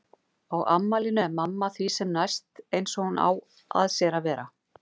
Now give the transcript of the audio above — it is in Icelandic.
Á afmælinu er mamma því sem næst eins og hún á að sér að vera.